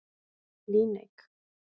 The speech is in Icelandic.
Líneik